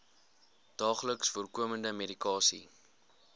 daagliks voorkomende medikasie